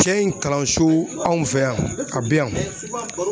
Cɛ in kalanso anw fɛ yan a be yan